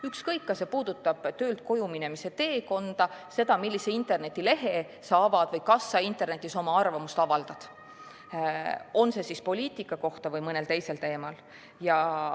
Ükskõik kas see puudutab töölt koju minemise teekonda, seda, millise internetilehe sa avad, või seda, kui sa avaldad internetis oma arvamust kas poliitika kohta või mõnel teisel teemal.